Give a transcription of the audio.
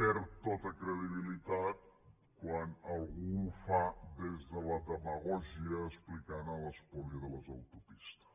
perd tota credibilitat quan algú ho fa des de la demagògia explicant l’espoli de les autopistes